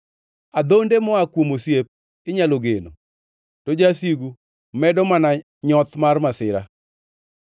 Adhonde moa kuom osiep inyalo geno, to jasigu medo mana nyoth mar masira.